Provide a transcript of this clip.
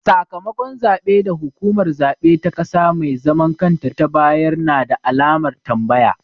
Sakamakon zaɓe da hukumar zaɓe ta ƙasa mai zaman kanta ta bayar na da alamar tambaya.